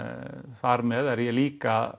þar með er ég líka